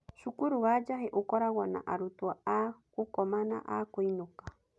Cukuru wa Njahi ũkoragwo na arutwo a gũkoma na a kũinũka.